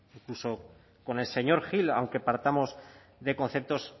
incluso con el señor gil aunque partamos de conceptos